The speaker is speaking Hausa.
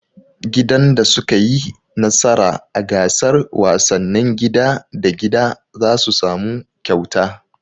Gidan da su ka yi nasara a gasar wasannin gida da gida zasu samu kyauta